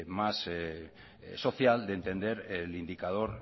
más social de entender el indicador